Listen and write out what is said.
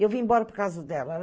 Eu vim embora por causa dela.